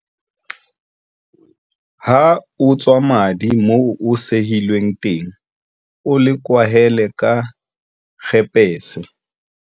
Ha o tswa madi moo o sehilweng teng o le kwahele ka kgepese.